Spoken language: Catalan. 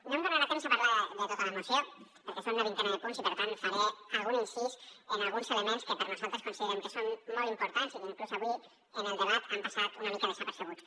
no tindré temps de parlar de tota la moció perquè són una vintena de punts i per tant faré algun incís en alguns elements que nosaltres considerem que són molt importants i que inclús avui en el debat han passat una mica desapercebuts